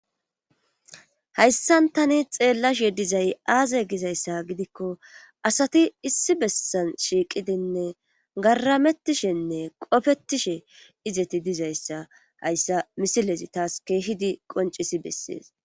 hayssan tani xeellashe dizay aaze gizayssa gidikko asati issi bessan shiiqidinne garamettishenne qofettishe izeti dizayssa hayssa misilezi taas keehidi qoncisi bessees